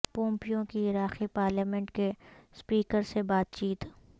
Pompeo کی عراقی parliament کے اسپیکر سے بات چیت